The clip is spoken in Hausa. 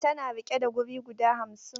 Tana riƙe da wuri guda hamsin.